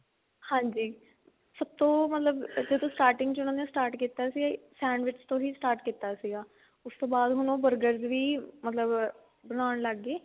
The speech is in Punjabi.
ਹਾਂਜੀ ਸਭ ਤੋਂ ਮਤਲਬ ਜਦੋਂ starting ਚ ਉਹਨਾ ਨੇ start ਕੀਤਾ ਸੀ sandwich ਤੋਂ ਹੀ start ਕੀਤਾ ਸੀਗਾ ਉਸਤੋਂ ਬਾਅਦ ਹੁਣ ਉਹ burger ਵੀ ਮਤਲਬ ਬਣਾਉਣ ਲੱਗ ਗਏ